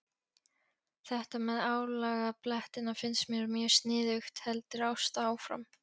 Þetta með álagablettina finnst mér mjög sniðugt, heldur Ásta áfram.